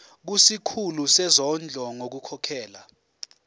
kusikhulu sezondlo ngokukhokhela